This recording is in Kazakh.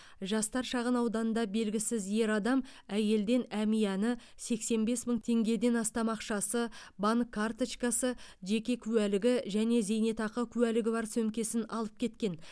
жастар шағын ауданында белгісіз ер адам әйелден әмияны сексен бес мың теңгеден астам ақшасы банк карточкасы жеке куәлігі және зейнетақы куәлігі бар сөмкесін алып кеткен